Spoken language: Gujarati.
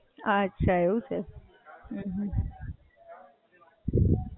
અચ્છા. એવું ના હોય ને કે એમ sixty આયા તો science નહીં, science લઈને મેહનત ના કરી શકીએ?